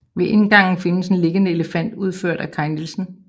Ved indgangen findes en liggende elefant udført af Kai Nielsen